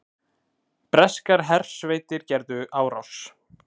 Breskar hersveitir gerðu árás